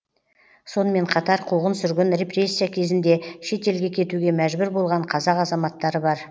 сонымен қатар қуғын сүргін репрессия кезінде шет елге кетуге мәжбүр болған қазақ азаматтары бар